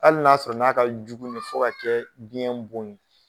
Hali n'a sɔrɔ n'a ka jugu ne fɔ ka kɛ biyɛn bon ye.